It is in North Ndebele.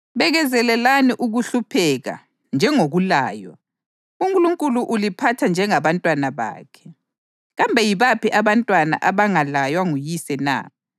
Bekezelelani ukuhlupheka njengokulaywa; uNkulunkulu uliphatha njengabantwana bakhe. Kambe yibaphi abantwana abangalaywa nguyise na?